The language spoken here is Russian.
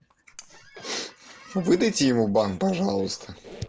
выдайте ему банк пожалуйста